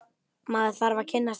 Maður þarf að kynnast henni!